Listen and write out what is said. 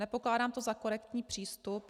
Nepokládám to za korektní přístup.